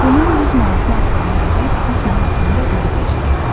Bunun 100 manatını Aslana verib, 100 manatını da özü xərcləyirdi.